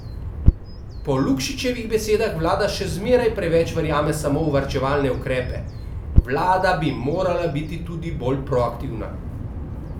Po Lukšičevih besedah vlada še zmeraj preveč verjame samo v varčevalne ukrepe: "Vlada bi morala biti tudi bolj proaktivna.